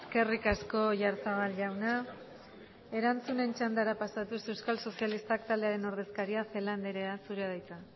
eskerrik asko oyarzabal jauna erantzunen txandara pasatuz euskal sozialistak taldearen ordezkaria celaá andrea zurea da hitza